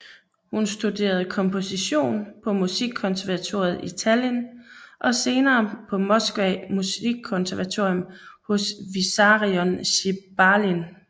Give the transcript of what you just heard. Hun studerede komposition på musikkonservatoriet i Tallinn og senere på Moskva musikkonservatorium hos Vissarion Sjebalin